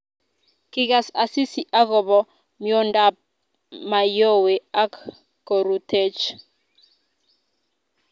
kigas Asisi akobo miondab Mayowe ak korutechi